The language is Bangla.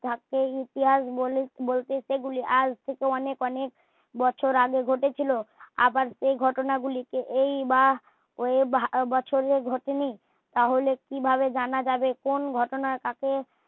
সে ইতিহাস বলতে সে গুলি আজ থেকে অনেক বছর আগে ঘটেছিলো আবার সেই ঘটনা গুলি কে এই বা সেই বছরে ঘটে নি তা হলে কি ভাবে জানা যাবে কোন ঘটনা কাকে